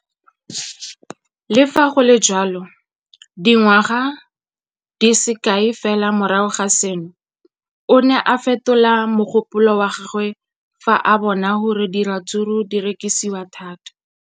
Le fa go le jalo, dingwaga di se kae fela morago ga seno, o ne a fetola mogopolo wa gagwe fa a bona gore diratsuru di rekisiwa thata.